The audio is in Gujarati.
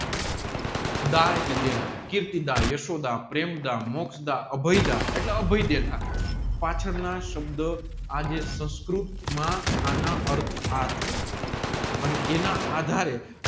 દા એટલે દેનાર કીર્તિદા યશોધ મોક્ષદ અભયદા એટલે અભય દેનાર પાછળ ના સબધ આજે સંસ્કૃત માં એના અર્થ આ થાય છે ણ એના આધારે